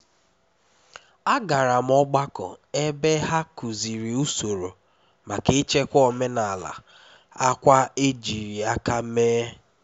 agara m ogbako ebe ha kuziri usoro maka ichekwa omenala akwa ejiri aka mee